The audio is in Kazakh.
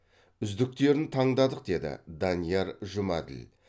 үздіктерін таңдадық деді данияр жұмәділ